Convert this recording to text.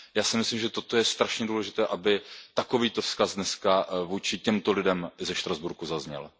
Já si myslím, že toto je strašně důležité, aby takovýto vzkaz dnes vůči těmto lidem ze Štrasburku zazněl.